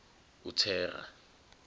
uthera